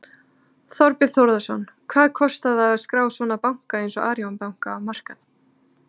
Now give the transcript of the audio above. Þorbjörn Þórðarson: Hvað kostar að skrá svona banka eins og Arion banka á markað?